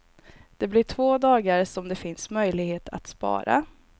Det blir två dagar, som det finns möjlighet att spara.